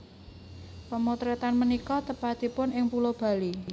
Pemotretan punika tepatipun ing Pulau Bali